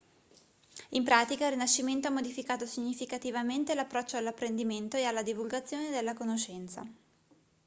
in pratica il rinascimento ha modificato significativamente l'approccio all'apprendimento e alla divulgazione della conoscenza